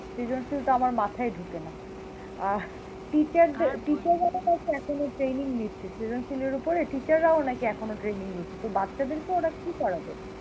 সৃজনশীল তো আমার মাথায়ঢোকে না। আহ teacher দের, এখনো training নিচ্ছে, সৃজনশীলের উপরে teacher রাও নাকি এখনো training নিচ্ছে, তো বাচ্চাদের কে ওরা কি পড়াবে?